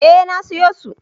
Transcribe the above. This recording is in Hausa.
Eh na sayo su.